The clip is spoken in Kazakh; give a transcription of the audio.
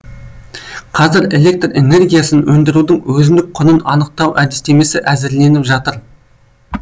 қазір электр энергиясын өндірудің өзіндік құнын анықтау әдістемесі әзірленіп жатыр